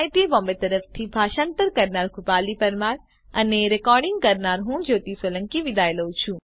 IIT Bombay તરફથી ભાષાંતર કરનાર હું કૃપાલી પરમાર વિદાય લઉં છું